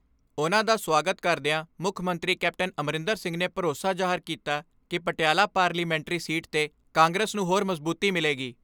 ਉਨ੍ਹਾਂ ਦਾ ਸਵਾਗਤ ਕਰਦਿਆਂ ਮੁੱਖ ਮੰਤਰੀ ਕੈਪਟਨ ਅਮਰਿੰਦਰ ਸਿੰਘ ਨੇ ਭਰੋਸਾ ਜਾਹਰ ਕੀਤਾ ਕਿ ਪਟਿਆਲਾ ਪਾਰਲੀਮਾਨੀ ਸੀਟ 'ਤੇ ਕਾਂਗਰਸ ਨੂੰ ਹੋਰ ਮਜ਼ਬੂਤੀ ਮਿਲੇਗੀ।